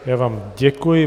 Já vám děkuji.